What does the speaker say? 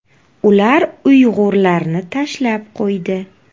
Ular uyg‘urlarni tashlab qo‘ydi.